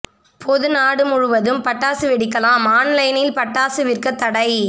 பொது நாடு முழுவதும் பட்டாசு வெடிக்கலாம் ஆன்லைனில் பட்டாசு விற்க தடை